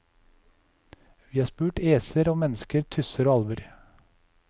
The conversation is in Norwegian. Vi har spurt æser og mennesker, tusser og alver.